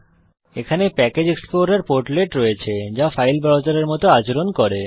এখানে প্যাকেজ এক্সপ্লোরের পোর্টলেট রয়েছে যা ফাইল ব্রাউজারের মত আচরণ করে